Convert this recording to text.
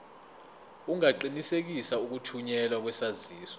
ungaqinisekisa ukuthunyelwa kwesaziso